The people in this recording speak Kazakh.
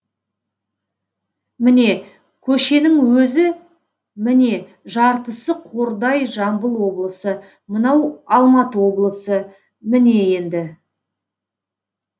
міне көшенің өзі міне жартысы қордай жамбыл облысы мынау алматы облысы міне енді